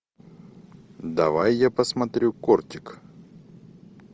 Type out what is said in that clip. давай я посмотрю кортик